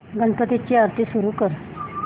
गणपती ची आरती सुरू कर